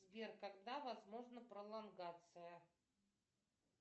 сбер когда возможна пролонгация